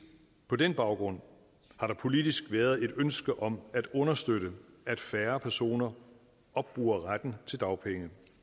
på den baggrund har der politisk været et ønske om at understøtte at færre personer opbruger retten til dagpenge